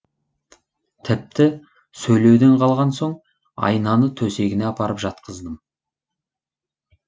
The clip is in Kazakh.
тіпті сөйлеуден қалған соң айнаны төсегіне апарып жатқыздым